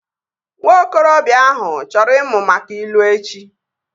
Nwa okorobịa ahụ chọrọ ịmụ maka ilu echi